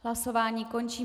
Hlasování končím.